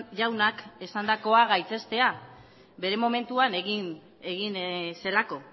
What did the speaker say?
jaunak esandakoa gaitzestea bere momentuan egin zelako